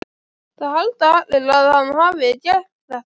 Það halda allir að hann hafi gert þetta.